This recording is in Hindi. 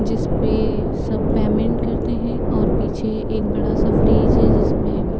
जिसपे सब पेमेंट करते हैं और पीछे एक बड़ा-सा फ्रिज है जिसमें --